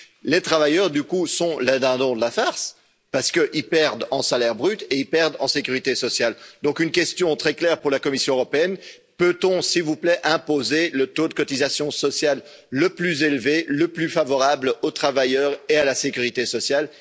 Les travailleurs du coup sont les dindons de la farce, parce qu'ils perdent en salaire brut et ils perdent en sécurité sociale donc une question très claire pour la Commission européenne peut on s'il vous plaît, imposer le taux de cotisation sociale le plus élevé, le plus favorable aux travailleurs et à la sécurité sociale